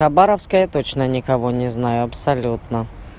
хабаровске я точно никого не знаю абсолютно